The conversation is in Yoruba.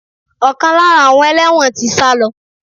Ọkan lára àwọn ẹlẹ́wọ̀n tí sálọ.